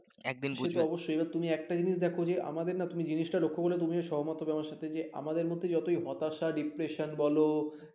সে তো অবশ্যই এবার তুমি একটা জিনিস দেখো যে আমাদের না তুমি জিনিসটা লক্ষ্য করলে তুমিও সহমত হবে আমার সাথে যে আমাদের মধ্যে যতই হতাশা depression বল